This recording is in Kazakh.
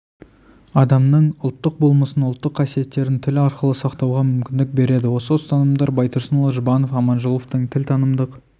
адамның ұлттық болмысын ұлттық қасиеттерін тіл арқылы сақтауға мүмкіндік береді осы ұстанымдар байтұрсынұлы жұбанов аманжоловтың тілтанымдық